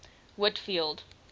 whitfield